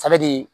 de ye